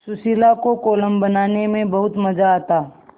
सुशीला को कोलम बनाने में बहुत मज़ा आता